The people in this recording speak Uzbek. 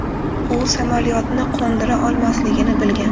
U samolyotni qo‘ndira olmasligini bilgan.